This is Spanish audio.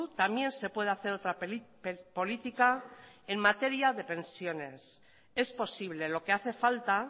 también se puede hacer otra política en materia de pensiones es posible lo que hace falta